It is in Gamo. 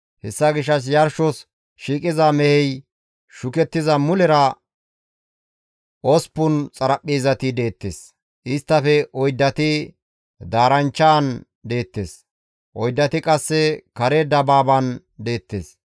Hessa gishshas yarshos shiiqida mehey istta bolla shukettiza mulera osppun xaraphpheezati deettes; isttafe oyddati daaranchchan deettes; oyddati qasse kare dabaaban deettes.